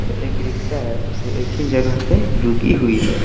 एक रिक्शा है जो एक ही जगह पे रुकी हुई है।